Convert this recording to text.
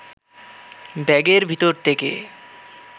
ব্যাগের ভেতর থেকে